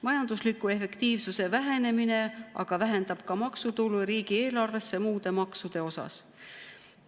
Majandusliku efektiivsuse vähenemine aga vähendab ka maksutulu riigieelarvesse muude maksude osas.